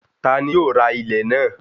Ta ni yóò ra ilẹ̀ náà?